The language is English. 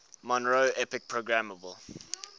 monroe epic programmable